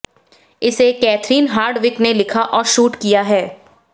इसे Catherine Hardwicke ने लिखा और शूट किया है